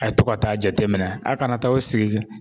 A' ye to ka taa jateminɛ a kana taa aw sigi